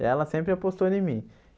e ela sempre apostou em mim.